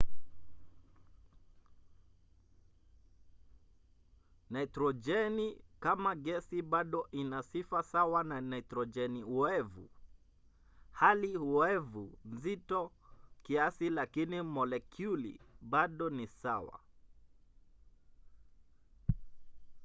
nitrojeni kama gesi bado ina sifa sawa na nitrojeni oevu. hali oevu nzito kiasi lakini molekyuli bado ni sawa